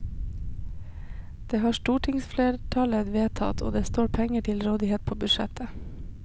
Det har stortingsflertallet vedtatt, og det står penger til rådighet på budsjettet.